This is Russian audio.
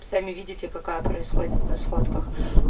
сами видите какая происходит на схватках